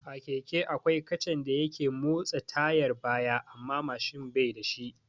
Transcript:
A keke akwai kacan da yake motsa tayar baya amma Mashin bai da shi